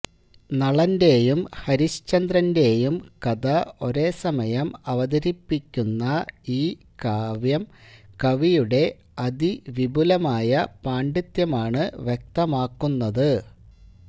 നളന്റെയും ഹരിശ്ചന്ദ്രന്റെയും കഥ ഒരേസമയം അവതരിപ്പിക്കുന്ന ഈ കാവ്യം കവിയുടെ അതിവിപുലമായ പാണ്ഡിത്യമാണ് വ്യക്തമാക്കുന്നത്